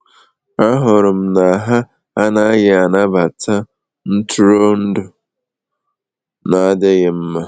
Ahụrụ m na ha anaghị anabata ntụrụndụ na adịghị mma.